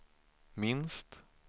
minst